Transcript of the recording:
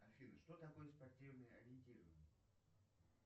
афина что такое спортивное ориентирование